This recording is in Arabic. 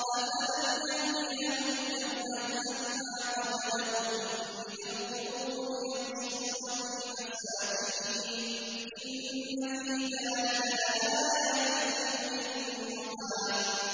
أَفَلَمْ يَهْدِ لَهُمْ كَمْ أَهْلَكْنَا قَبْلَهُم مِّنَ الْقُرُونِ يَمْشُونَ فِي مَسَاكِنِهِمْ ۗ إِنَّ فِي ذَٰلِكَ لَآيَاتٍ لِّأُولِي النُّهَىٰ